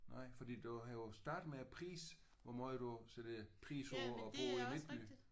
Nej fordi du havde jo startet med at prise hvor meget du sætter pris på at bo i midtbyen?